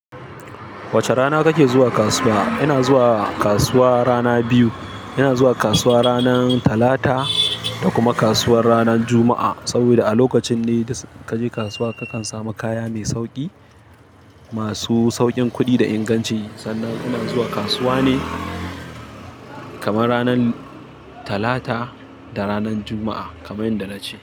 Wace rana kake zuwa kasuwa? Ina zuwa kasuwa rana biyu. Ina zuwa kasuwa ranar Talata da kuma kasuwar ranar Juma'a. Saboda a lokacin ne da kaje kasuwa kakan samu kaya mai sauƙi, masu sauƙin kuɗi da inganci. Sannan ina zuwa kasuwa ne kamar ranar Talata da ranar Juma'a kamar yadda na ce.